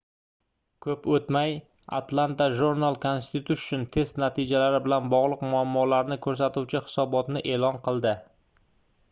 koʻp oʻtmay atlanta journal-constitution test natijalari bilan bogʻliq muammolarni koʻrsatuvchi hisobotni eʼlon qildi